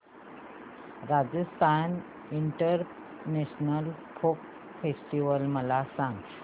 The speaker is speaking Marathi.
राजस्थान इंटरनॅशनल फोक फेस्टिवल मला सांग